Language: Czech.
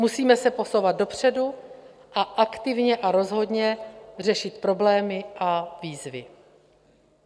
Musíme se posouvat dopředu a aktivně a rozhodně řešit problémy a výzvy.